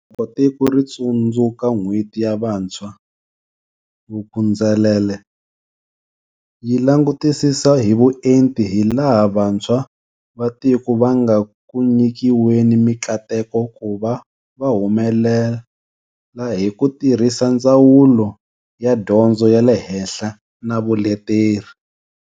Loko tiko ri tsundzu ka N'hweti ya Vantshwa, Vuk'uzenzele yi langutisisa hi vuenti hilaha vantshwa va tiko va nga ku nyikiweni mikateko ku va va humelela hi ku tirhisa Ndzawulo ya Dyondzo ya le Henhla na Vuleteri.